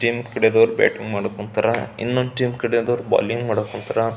Team ಕಡೆಯವರು batting ಮಾಡಾಕೆ ಹೋಗ್ತಾರಾ ಇನ್ನೊಂದು ಟೀಮ್ ಕಡೆಯವರು ಬೌಲಿಂಗ್ ಮಾಡಾಕೆ ಹೋಗ್ತಾರಾ.